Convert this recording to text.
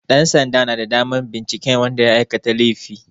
Ɗansanda na da damar binciken wanda ya aikata laifi.